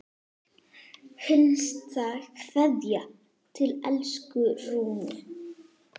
HINSTA KVEÐJA Til elsku Rúnu.